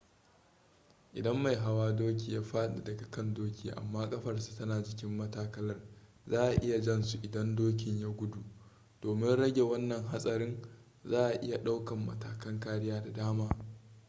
idan mai hawan doki ya faɗi daga kan doki amma ƙafarsa tana jikin matakalar za a iya jan su idan dokin ya gudu domin rage wanna hatsarin za a iya ɗaukan matakan kariya da dama